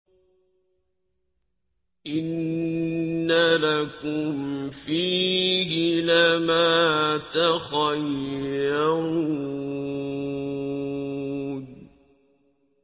إِنَّ لَكُمْ فِيهِ لَمَا تَخَيَّرُونَ